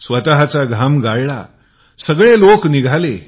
स्वतचा घाम गाळला सगळे लोक निघाले